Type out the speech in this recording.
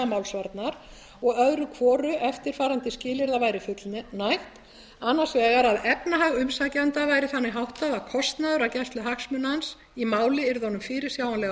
málsvarnar og öðru hvoru eftirfarandi skilyrða væri fullnægt annars vegar að efnahag umsækjenda væri þannig háttað að kostnaður af gæslu hagsmuna hans í máli yrði honum fyrirsjáanlega